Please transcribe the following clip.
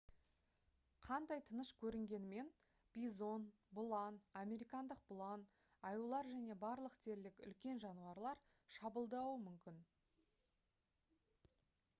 қандай тыныш көрінгенімен бизон бұлан американдық бұлан аюлар және барлық дерлік үлкен жануарлар шабуылдауы мүмкін